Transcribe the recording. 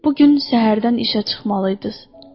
Bu gün səhərdən işə çıxmalıydınız.